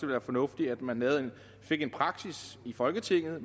meget fornuftigt at man fik en praksis i folketinget og